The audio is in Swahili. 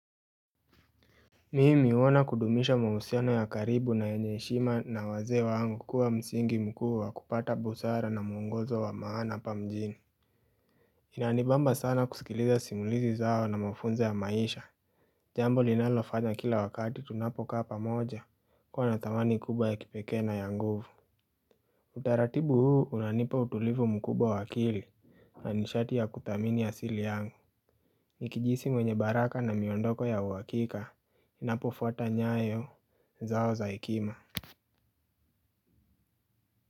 Mimi huona kudumisha mahusiana ya karibu na yenye heshima na wazee wangu kuwa msingi mkuu wa kupata busara na mwongozo wa maana hapa mjini. Inanibamba sana kusikiliza simulizi zao na mafunzo ya maisha. Jambo linalofanya kila wakati tunapokaa pamoja kuwa na thamani kubwa ya kipekee na ya nguvu. Utaratibu huu unanipa utulivu mkubwa wa akili. Na nishati ya kuthamini asili yangu nikijihisi mwenye baraka na miondoko ya uwakika ninapofwata nyayo zao za hekima.